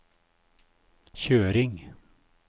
kjøring